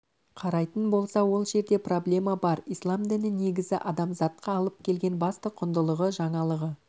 қарайтын болса ол жерде проблема бар ислам діні негізі адамзатқа алып келген басты құндылығы жаңалығы